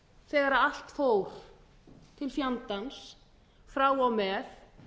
þegar allt fór til fjandans frá og með